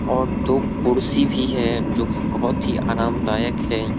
और दो कुर्सी भी हैं जो कि बहुत ही आरामदायक हैं।